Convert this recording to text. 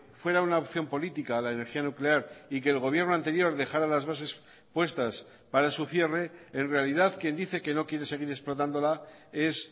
fuera una opción política la energía nuclear y que el gobierno anterior dejara las bases puestas para su cierre en realidad quien dice que no quiere seguir explotándola es